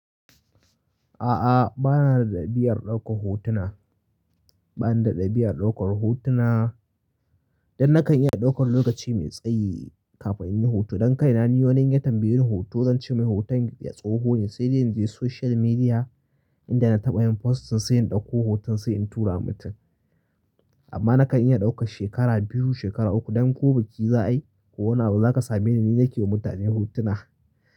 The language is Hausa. A'a, ba na da ɗabi'ar ɗaukar hotuna. Ba ni da ɗabi'ar ɗaukar hotuna dan nakan iya ɗaukar lokaci mai tsayi kafin in yi hoto. Dan kaina ni wani in ya tambaye ni hoto, zan ce mai hoton, tsoho ne sai dai in je social media inda na taɓa yin posting sai in ɗauko hoton sai in tura wa mutum. Amma nakan iya ɗaukar shekara biyu, shekara uku dan ko biki za ayi ko wani abu za ka sameni ni nake wa mutane hotuna.